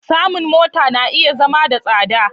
Samun mota na iya zama da tsada.